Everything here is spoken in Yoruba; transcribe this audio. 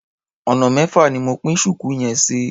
Ọ̀nà mẹ́fà ni mo pín ṣùkú yẹn sí.